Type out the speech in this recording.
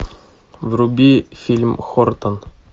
вруби фильм хортон